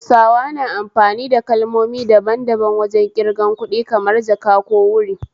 Hausawa na amfani kalmomi dadan daban wajen ƙirgan kuɗi, kamar 'jaka' ko 'wuri'